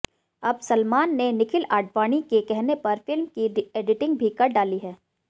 अब सलमान ने निखिल आडवाणी के कहने पर फिल्म की एडिटिंग भी कर डाली है